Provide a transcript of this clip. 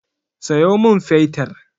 Sayo min fetir!